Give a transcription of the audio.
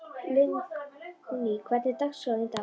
Lingný, hvernig er dagskráin í dag?